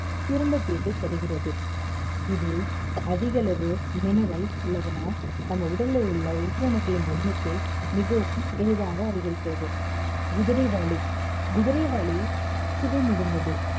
சிறந்த தீர்வை தருகிறது இதில் அதிகளவு minerals உள்ளதினால் நம்ம உடல்ல உள்ள உயிர் அணுக்களின் எண்ணிக்கை மிகவும் எளிதாக அதிகரிக்கிறது குதிரைவாலி குதிரைவாலி சுவை மிகுந்தது